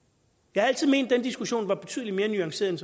jeg har altid ment at den diskussion var betydelig mere nuanceret